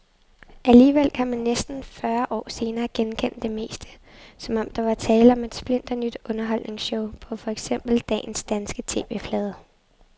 Alligevel kan man næsten fyrre år senere genkende det meste, som om der var tale om et splinternyt underholdningsshow på for eksempel dagens danske TV-flade.